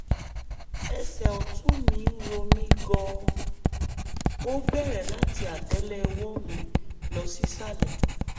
ẹsẹ̀ ọ̀tún mi ń ro mí gan-an ó bẹ̀rẹ̀ láti àtẹ́lẹwọ́ mi lọ sísàlẹ̀